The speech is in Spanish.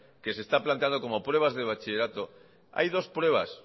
que se está planteando como prueba de bachillerato hay dos pruebas